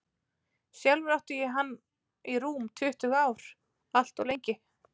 Sjálfur átti ég hann í rúm tuttugu ár, allt of lengi.